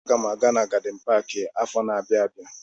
Aga m aga gadin paki afọ na-abịa abịa.